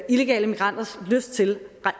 illegale migranters lyst til